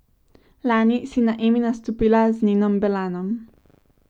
Lani si na Emi nastopila z Nenom Belanom.